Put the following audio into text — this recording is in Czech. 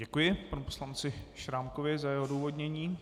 Děkuji panu poslanci Šrámkovi za jeho odůvodnění.